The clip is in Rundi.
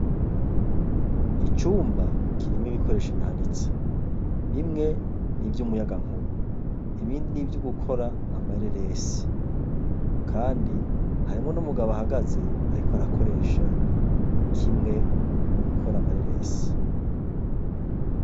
Icumba kirimwe ibikoresha ibihanitse, bimwe nivyo umuyaga nkuba, ibindi n'ivyo gukora amareresi, kandi harimwo n’umugabo ahagaze, ariko arakoresha kimwe mubikora amareresi.